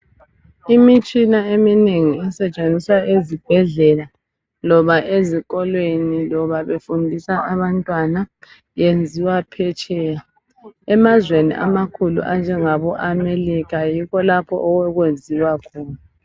Imitshina eminengi esetshenziswa ezibhedlela loba ezikolweni loba befundisa abantwana enziwa phetsheya emazweni amakhulu anjengabo America yikho lapho okwenziwa khona.